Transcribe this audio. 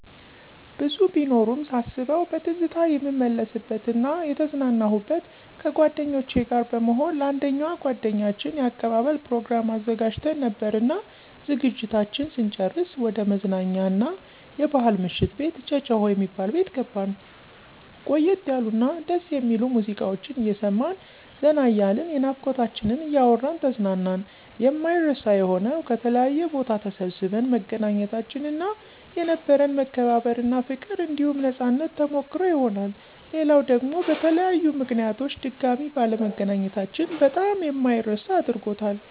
ብዙ ቢኖሩም ሳስበዉ በትዝታ የምመለስበት እና የተዝናናሁበት፦ ከጓደኞቸ ጋር በመሆን ለአንደኛዋ ጓደኛችን የአቀባበል ፕሮግራም አዘጋጅተን ነበርና ዝግጅታችን ስንጨርስ ወደ መዝናኛ አና የባሕል ምሽት ቤት ጨጨሆ የሚባል ቤት ገባን። ቆየት ያሉ እና ደስ የሚሉ ሙዚቃወችን አየሰማን ዘና እያልን የናፍቆታችንን እያወራን ተዝናናን። የማይረሳ የሆነዉ፦ ከተለያየ ቦታ ተሰባስበን መገናኘታችን እና የነበረን መከባበር እና ፋቅር አንዲሁም ነፃነት ተሞከሰሮ ይሆናል። ሌላዉ ደግሞ በተለያዩ ምከንያቶች ድጋሜ ባለመገናኘታችን በጣም የማይረሳ አድርጎታል።